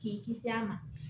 K'i kisi a ma